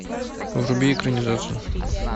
вруби экранизацию